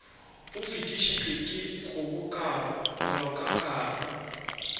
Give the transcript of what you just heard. o fetišitšwe ke kgobokano molaokakanywa